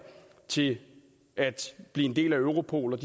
til at blive en del af europol